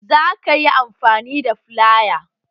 Za ka yi amfani da filaya?